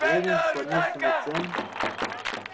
лэннинг склонился над тем